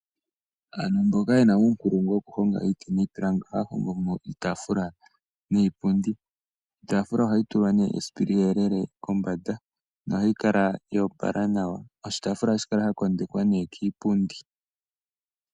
Aantu mboka yena uunkulungu woku honga iiti niipilangi, ohaya hongo mo iitaafula niipundi. Iitaafula ohayi tulwa nee esipili eyelele kombanda nohayi kala yo opala nawa. Oshitaafula ohashi kala sha kondekwa nee kiipundi.